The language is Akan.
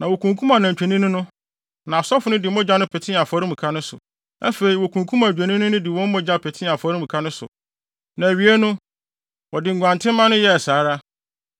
Na wokunkum anantwinini no, na asɔfo no de mogya no petee afɔremuka no so. Afei, wokunkum adwennini no de wɔn mogya petee afɔremuka no so. Na awiei no, wɔde nguantenmma no yɛɛ saa ara.